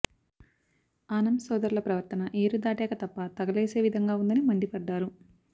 ఆనం సోదరుల ప్రవర్తన ఏరుదాటాక తెప్ప తగలేసే విధంగా ఉందని మండిపడ్డారు